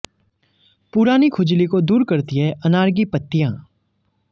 पुरानी खुजली को दूर करती हैं अनार की पत्तियां